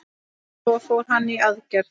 Svo fór hann í aðgerð.